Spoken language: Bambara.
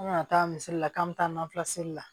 An kana taa misali la k'an bɛ taa nafisi la